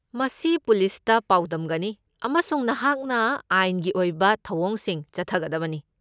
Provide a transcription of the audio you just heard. ꯃꯁꯤ ꯄꯨꯂꯤꯁꯇ ꯄꯥꯎꯗꯝꯒꯅꯤ, ꯑꯃꯁꯨꯡ ꯅꯍꯥꯛꯅ ꯑꯥꯏꯟꯒꯤ ꯑꯣꯏꯕ ꯊꯧꯑꯣꯡꯁꯤꯡ ꯆꯠꯊꯒꯗꯕꯅꯤ꯫